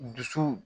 Dusu